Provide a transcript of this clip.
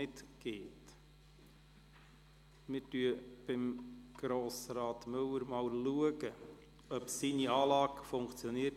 Wir testen, ob die Anlage bei Grossrat Müller funktioniert.